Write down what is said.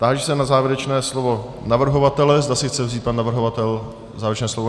Táži se na závěrečné slovo navrhovatele, zda si chce vzít pan navrhovatel závěrečné slovo.